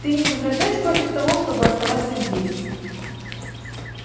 ты не возражаешь против того чтобы оставаться здесь